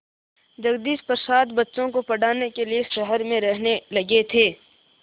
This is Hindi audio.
जगदीश प्रसाद बच्चों को पढ़ाने के लिए शहर में रहने लगे थे